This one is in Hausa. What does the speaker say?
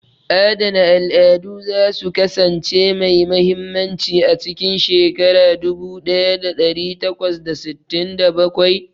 Adana al'adu za su kasance mai mahimmanci a cikin shekara dubu ɗaya ɗari takwas da sittin da bakwai.